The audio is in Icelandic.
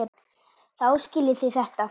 Þá skiljið þið þetta.